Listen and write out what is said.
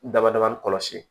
Dbada ni kɔlɔsi